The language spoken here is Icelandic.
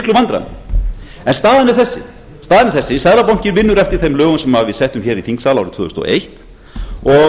töluvert miklum vandræðum staðan er þessi seðlabankinn vinnur eftir þeim lögum sem við settum hér í þingsal árið tvö þúsund og eins og